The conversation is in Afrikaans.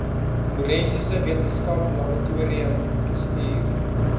forensiese wetenskaplaboratorium gestuur